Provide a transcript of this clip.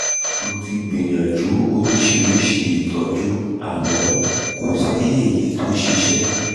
mo ti gbìyànjú oríṣiríṣi ìtọ́jú àmọ́ kò sí èyí tó ṣiṣẹ́